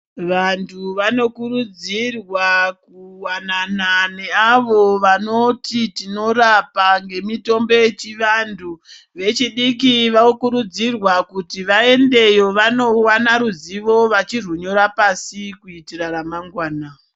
Vanthu vanokurudzirwa kuwanana neavo vanoti tinoramba ngemitimbo yechianthu vechidiki vokurudzirwa kuti vaendeyo vanowana ruzivo vachirwunyora pasi kuitira ramangwana.